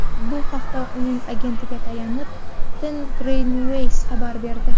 Bu haqda uning agentiga tayanib, Tengrinews xabar berdi .